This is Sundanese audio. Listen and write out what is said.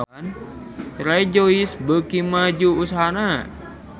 Rejoice beuki maju usahana